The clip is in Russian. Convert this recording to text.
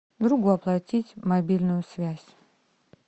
другу оплатить мобильную связь